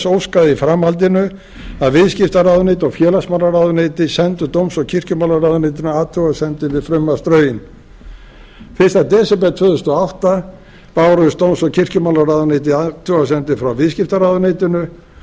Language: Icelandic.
í framhaldinu að viðskiptaráðuneyti og félagsmálaráðuneyti sendu dóms og kirkjumálaráðuneytinu athugasemdir við frumvarpsdrögin fyrsta desember tvö þúsund og átta bárust dóms og kirkjumálaráðuneyti athugasemdir frá viðskiptaráðuneytinu